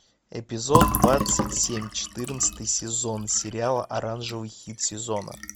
эпизод двадцать семь четырнадцатый сезон сериала оранжевый хит сезона